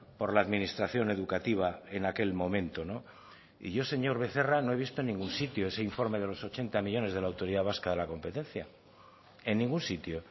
por la administración educativa en aquel momento y yo señor becerra no he visto en ningún sitio ese informe de los ochenta millónes de la autoridad vasca de la competencia en ningún sitio